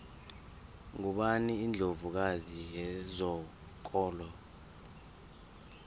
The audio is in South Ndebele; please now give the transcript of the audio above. ngubani indlovu kazi yezokolo